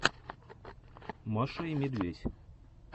маша и медведь